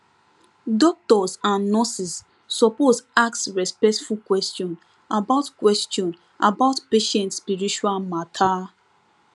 doctors and nurses suppose ask respectful question about question about patient spiritual matter